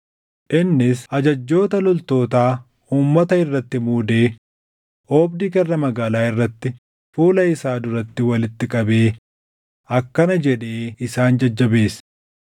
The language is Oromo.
Innis ajajjoota loltootaa uummata irratti muudee oobdii karra magaalaa irratti fuula isaa duratti walitti qabee akkana jedhee isaan jajjabeesse;